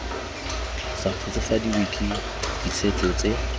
sa kgotsofadiwe ke ditshwetso tse